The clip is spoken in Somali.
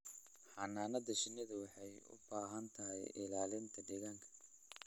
Xannaanada shinnidu waxay u baahan tahay ilaalinta deegaanka.